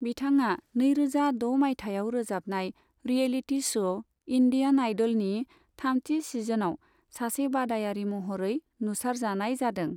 बिथाङा नैरोजा द' मायथाइयाव रोजाबनाय रियेलिटि श' 'इन्डियान आइड'ल' नि थामथि सिजनाव सासे बादायारि महरै नुसारजानाय जादों।